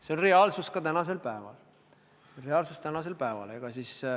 See on reaalsus ka tänasel päeval.